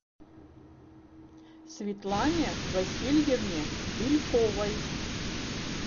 светлане васильевне бельковой